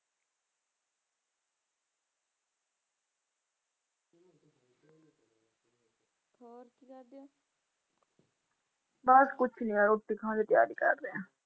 ਬਸ ਕੁਛ ਨੀ ਬਸ ਰੋਟੀ ਖਾਣ ਦੀ ਤਿਆਰੀ ਕਰਦੇ ਹਾਂ।